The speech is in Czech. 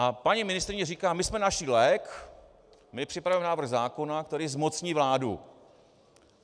A paní ministryně říká: "My jsme našli lék, my připravujeme návrh zákona, který zmocní vládu."